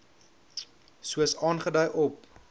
soos aangedui op